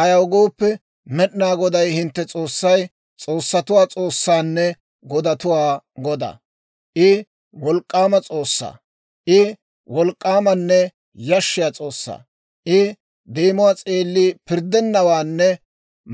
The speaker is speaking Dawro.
Ayaw gooppe, Med'inaa Goday hintte S'oossay s'oossatuwaa S'oossaanne godatuwaa Godaa. I wolk'k'aama S'oossaa; I wolk'k'aamanne yashshiyaa S'oossaa. I deemuwaa s'eelli pirddennawaanne